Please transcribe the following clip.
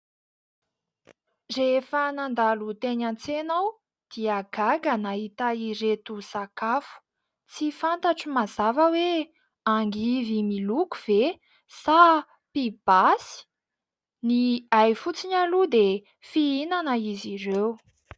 Rehefa nandalo teny an-tsena aho dia gaga nahita ireto sakafo, tsy fantatro mazava hoe angivy miloko ve sa pibasy? Ny hay fotsiny aloha dia fihinana izy ireo.